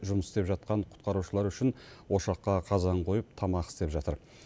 жұмыс істеп жатқан құтқарушылар үшін ошаққа қазан қойып тамақ істеп жатыр